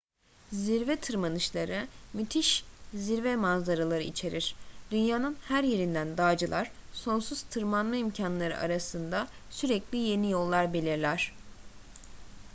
zirve tırmanışları müthiş zirve manzaraları içerir dünyanın her yerinden dağcılar sonsuz tırmanma imkanları arasında sürekli yeni yollar belirler